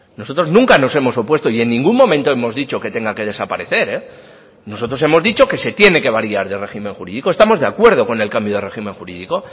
nosotros nunca nos hemos opuesto y en ningún momento hemos dicho que tenga que desaparecer nosotros hemos dicho que se tiene que variar de régimen jurídico estamos de acuerdo con el cambio de régimen jurídico